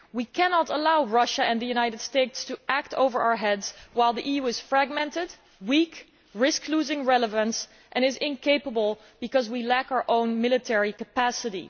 We cannot allow Russia and the United States to act over our heads while the EU is fragmented, weak, risks losing relevance and is incapable because we lack our own military capacity.